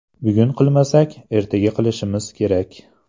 Bugun qilmasak, ertaga qilishimiz kerak.